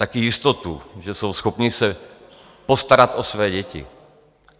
Taky jistotu, že jsou schopni se postarat o své děti.